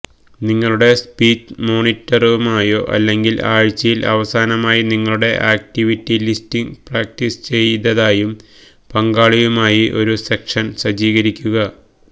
നിങ്ങളുടെ സ്പീച്ച് മോണിറ്ററുമായോ അല്ലെങ്കിൽ ആഴ്ചയിൽ അവസാനമായി നിങ്ങളുടെ ആക്റ്റിവിറ്റി ലിസ്റ്റിംഗ് പ്രാക്ടീസ് ചെയ്തതായും പങ്കാളിയുമായി ഒരു സെഷൻ സജ്ജീകരിക്കുക